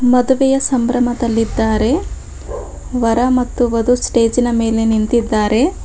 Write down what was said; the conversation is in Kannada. ಮದುವೆಯ ಸಂಭ್ರಮದಲ್ಲಿದ್ದಾರೆ ವರ ಮತ್ತು ವಧು ಸ್ಟೇಜಿನ ಮೇಲೆ ನಿಂತಿದ್ದಾರೆ.